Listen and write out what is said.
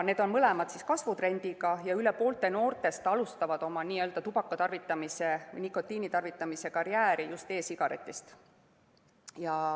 Need on mõlemad kasvutrendiga ja üle poole noortest alustavad oma nikotiinitarvitamise karjääri just e‑sigaretist.